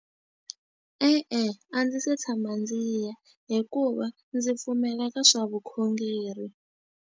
E-e, a ndzi se tshama ndzi ya hikuva ndzi pfumela ka swa vukhongeri.